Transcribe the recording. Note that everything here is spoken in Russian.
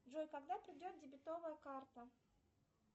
джой когда придет дебетовая карта